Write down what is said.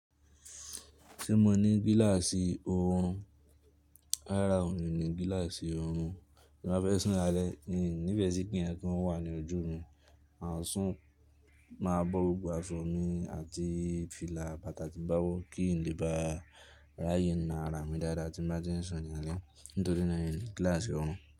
Tí mo ní gíláàsì orùn, rara ní ní gíláàsì orùn. Tí n ba fẹ́ sùn lálẹ́, n ò ní fẹ́ sì kí nkankan wà ní ojú mi, mà sùn máa bọ́ gbogbo asọ̀ mi àti fìlà bàtà tí bá wọ́ kí n lè bá ráyè na ara mi dáadáa tí n bá ti ń sùn ní alẹ́ nítorí na n ni gíláàsì orùn.